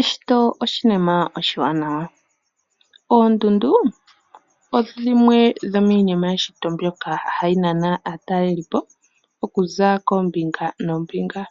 Eshito oshinima oshiwanawa, oondundu odho dhimwe dhomiinima yeshito mbyoka hayi nana aatalelipo okuza koombinga noombinga.